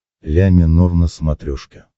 ля минор на смотрешке